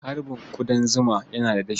Harbin ƙudan zuma yana da dafi.